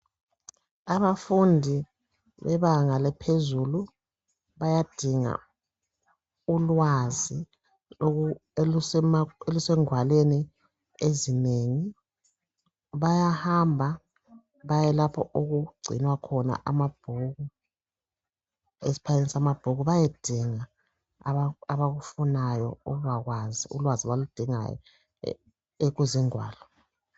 Abafundi bebanga laphezulu bayadinga ulwazi oku.. olusengwalweni ezinengi. Bayahamba bayelapho okugcinwa khona amabhuku, esibayeni samabhuku bayedinga abakufunayo ukubakwazi , ulwazi abaludingayo eku... ekuzingwalo.